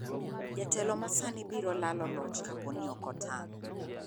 Jatelo ma sani biro lalo loch kapo ni ok otang'.